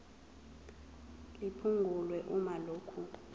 liphungulwe uma lokhu